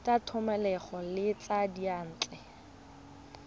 tsa thomeloteng le tsa diyantle